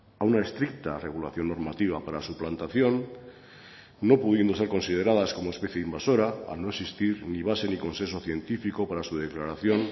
a una estricta regulación normativa para su plantación no pudiendo ser consideradas como especie invasora al no existir ni base ni consenso científico para su declaración